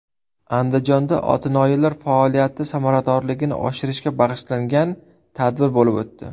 Andijonda otinoyilar faoliyati samaradorligini oshirishga bag‘ishlangan tadbir bo‘lib o‘tdi.